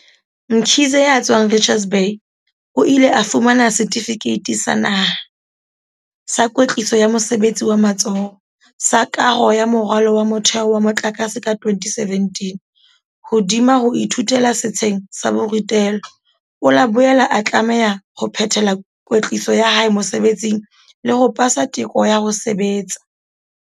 Mkhize, ya tswang Richards Bay, o ile a fumana Setifikeiti sa Naha, Sa Kwetliso ya Mosebetsi wa Matsoho, sa Kaho ya Moralo wa Motheo wa Motlakase ka 2017.Hodima ho ithutela setsheng sa borutelo, o la boela a tlameha ho phethela kwetliso ya hae mosebetsing le ho pasa teko ya ho sebetsa.